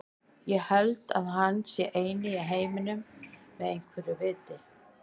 Ég held að hann sé eini maðurinn í heiminum með einhverju viti.